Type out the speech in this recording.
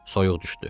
Soyuq düşdü.